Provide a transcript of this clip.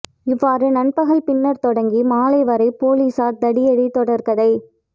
இவ்வாறு நண்பகல் பின்னர் தொடங்கி மாலை வரை போலீஸார் தடியடி தொடர்கதை